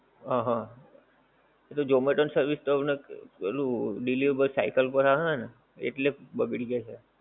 હ હ એ તો zomato ની service પહેલું delivery cycle ઉપર આવે ને એટલે બગડી જાએ